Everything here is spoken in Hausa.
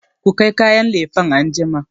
ku kai kayan lefen anjima!